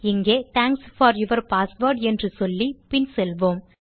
இங்கே thanks for your password என்று சொல்லி பின் செல்வோம்